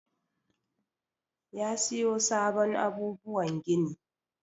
Yi siyo sabon abubuwan gini.